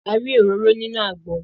A rí òróró nínú àgbọn